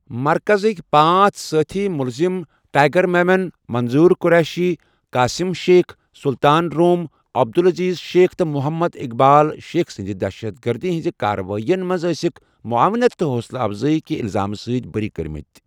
مرکَزٕکۍ پانٛژھ سٲتھی مُلزِم ٹائیگر میمن، منظور قریشی، قاسم شیخ، سلطان روم، عبدالعزیز شیخ تہٕ محمد اقبال شیخ سٕنٛدِ دہشت گردی ہٕنٛز کارروٲئیَن منٛز ٲسِکھ معاونت تہٕ حوصلہ افزٲئی کہِ الزامہٕ سۭتۍ بٔری کٔرمٕتۍ۔